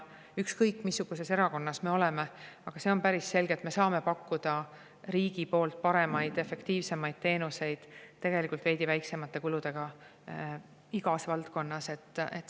Ükskõik missuguses erakonnas me oleme, on päris selge, et me saame pakkuda riigi poolt paremaid, efektiivsemaid teenuseid tegelikult veidi väiksemate kuludega igas valdkonnas.